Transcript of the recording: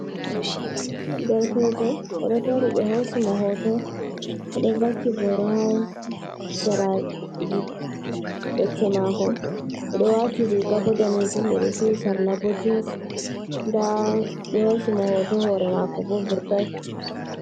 Derkejo o ɗo dari, ɓe hosi mo hoto o ɗo vakki boro ha seraji becce mako, o ɗo wati riga bo danejum, o ɗo duhi sarla bo jins. Nda ɓe hosi mo hoto, hore mako bo vurtai.